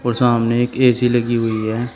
सामने एक ए_सी लगी हुई है।